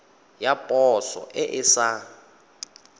ya poso e e sa